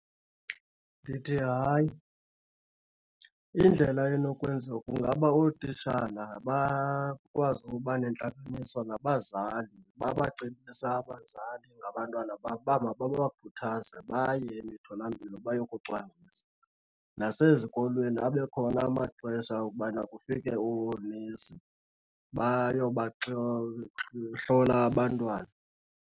Ndithi hayi, indlela enokwenza kungaba ootitshala bakwazi uba nentlanganiso nabazali, babacebise abazali ngabantwana babo uba mababakhuthaze baye emitholampilo bayokucwangcisa. Nasezikolweni abe khona amaxesha okubana kufike oonesi bayoba hlola abantwana.